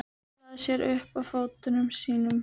Hallaði sér upp að fötunum sínum.